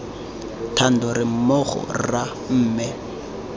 thando re mmogo rra mme